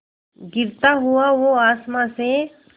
गिरता हुआ वो आसमां से